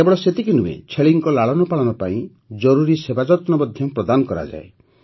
କେବଳ ସେତିକି ନୁହେଁ ଛେଳିଙ୍କ ଲାଳନପାଳନ ପାଇଁ ଜରୁରୀ ସେବାଯତ୍ନ ମଧ୍ୟ ପ୍ରଦାନ କରାଯାଏ